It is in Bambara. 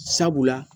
Sabula